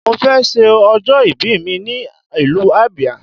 Mo fẹ ṣe ọjọ́ ìbí mi ní ìlú Abia